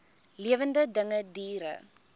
lewende dinge diere